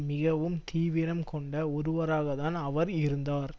மிகவும் தீவிரம் கொண்ட ஒருவராகத்தான் அவர் இருந்தார்